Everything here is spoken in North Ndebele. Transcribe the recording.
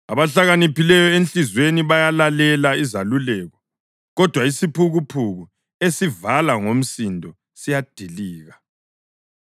Abahlakaniphileyo enhliziyweni bayalalela izeluleko, kodwa isiphukuphuku esivala ngomsindo siyadilika.